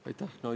Aitäh!